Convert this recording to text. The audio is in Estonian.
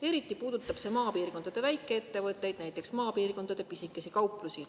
Eriti puudutab see maapiirkondade väikeettevõtteid, näiteks maapiirkondade pisikesi kauplusi.